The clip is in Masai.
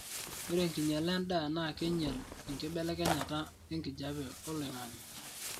ore enkinyala endaa naa keinyal enkibelekenyata enkijape oloingangi